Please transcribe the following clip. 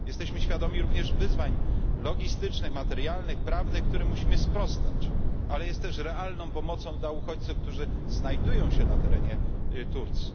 Jesteśmy świadomi również wyzwań logistycznych, materialnych i prawnych, którym musimy sprostać, ale niesie ona też realną pomoc dla uchodźców, którzy znajdują się na terenie Turcji.